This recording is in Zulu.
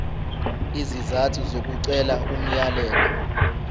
izizathu zokucela umyalelo